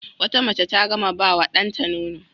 Wata mace ta gama ba wa ɗanta nono.